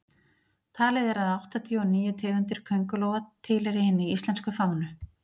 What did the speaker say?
talið er að áttatíu og níu tegundir köngulóa tilheyri hinni íslensku fánu